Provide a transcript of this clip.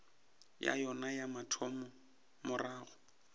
ya yona ya mathomo morago